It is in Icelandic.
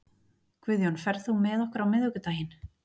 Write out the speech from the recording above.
Guðjón, ferð þú með okkur á miðvikudaginn?